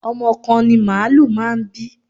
Ọmọ kan ni màálù máa ń bí.